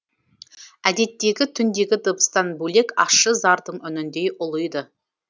әдеттегі түндегі дыбыстан бөлек ащы зардың үніндей ұлиды